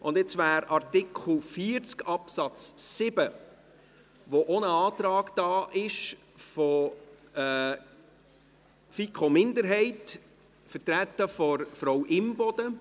Zu Artikel 40 Absatz 7 liegt auch ein Antrag der FiKoMinderheit vor, vertreten durch Frau Imboden.